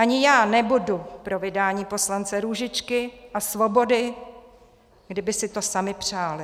Ani já nebudu pro vydání poslance Růžičky a Svobody, kdyby si to sami přáli.